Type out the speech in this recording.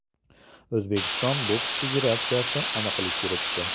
O‘zbekiston boks federatsiyasi aniqlik kiritdi.